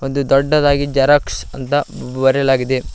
ಒಂದು ದೊಡ್ಡದಾಗಿ ಜರಾಕ್ಸ್ ಅಂತ ಬರೆಯಲಾಗಿದೆ.